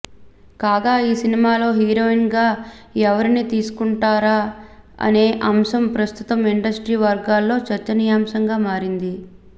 కాగా ఈ సినిమాలో హీరోయిన్గా ఎవరిని తీసుకుంటారా అనే అంశం ప్రస్తుతం ఇండస్ట్రీ వర్గాల్లో చర్చనీయాంశంగా మారింది